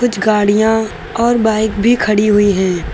कुछ गाड़ियां और बाइक भी खड़ी हुई हैं।